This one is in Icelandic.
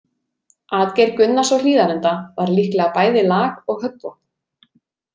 Atgeir Gunnars á Hlíðarenda var líklega bæði lag- og höggvopn.